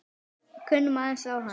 Við kunnum aðeins á hana.